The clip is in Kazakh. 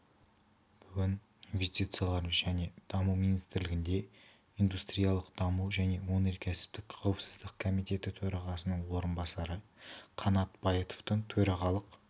бүгін инвестициялар және даму министрлігінде индустриялық даму және өнеркәсіптік қауіпсіздік комитеті төрағасының орынбасары қанат байытовтың төрағалық